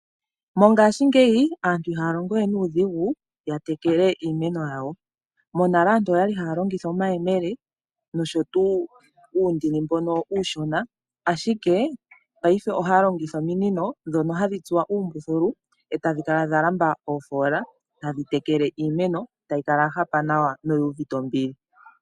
Mongashingeyi, aantu ihaya longo we nuudhigu ya tekele iimeno yawo. Monale aantu oyali haya longitha omayemele nosho tuu uundini mbono uushona, ashike paife ohaya longitha ominino ndhono hadhi tsuwa uumbuthulu etadhi kala dha lamba oofoola tadhi tekele iimeno, tayi kala ya hapa nawa noyi uvite ombili.